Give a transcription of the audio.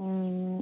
উম